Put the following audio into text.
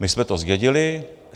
My jsme to zdědili.